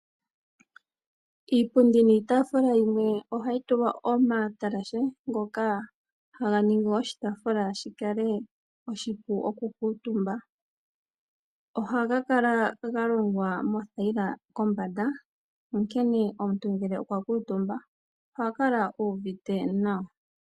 Iipundi niitaafula yimwe ohayi tulwa omatalashe ngoka haga ningi oshipundi shi kale oshipu okukuutumba. Ohaga kala ga longwa moothayila kombanda onkene omuntu ngele okwa kuutumba oha kala uuvite nawa.